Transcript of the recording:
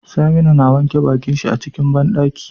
Saminu na wanke bakin shi a cikin banɗaki